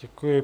Děkuji.